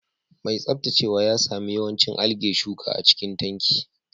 Mai tsaftacewa ya sami yawancin algae shuka a cikin tanki